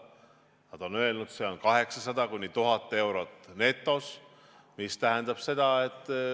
Nad on öelnud, et see on 800–1000 eurot netos.